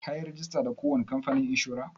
Ka yi rajista da ko wani kamfanin inshora?